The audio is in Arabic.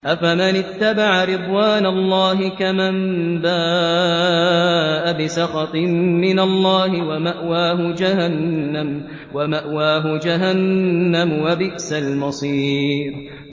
أَفَمَنِ اتَّبَعَ رِضْوَانَ اللَّهِ كَمَن بَاءَ بِسَخَطٍ مِّنَ اللَّهِ وَمَأْوَاهُ جَهَنَّمُ ۚ وَبِئْسَ الْمَصِيرُ